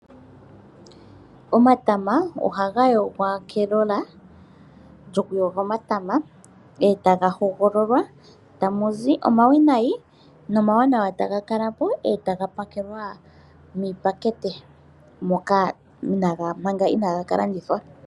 Omatama ohaga yogwa kelola lyokuyoga omatama etaga hogololwa, eta mu zi omawinayi nomawanawa eta ga kala po etaga pakelwa miipakete moka manga inaaga ka landithwa.